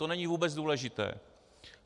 To není vůbec důležité.